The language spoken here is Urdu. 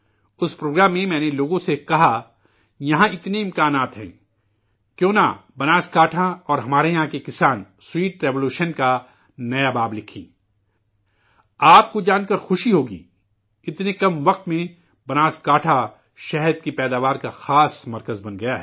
اس پروگرام میں میں نے لوگوں سے کہا یہاں اتنے امکانات ہیں، کیوں نہ بناسکانٹھا اور ہمارے یہاں کے کسان شیریں انقلاب کا نیا باب لکھیں ؟ آپ کو جان کر خوشی ہوگی، اتنے کم عرصے میں، بناسکانٹھا، شہد پیدا کرنے کا اہم مرکز بن گیا ہے